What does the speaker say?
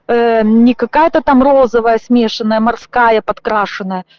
не какая-то там розовая смешанная морская подкрашена